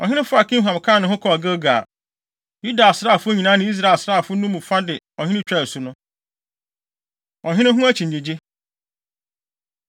Ɔhene faa Kimham kaa ne ho kɔɔ Gilgal. Yuda asraafo nyinaa ne Israel asraafo no mu fa de ɔhene twaa asu no. Ɔhene Ho Akyinnyegye